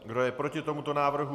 Kdo je proti tomuto návrhu?